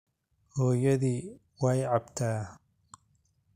Hooyadii way cabtaa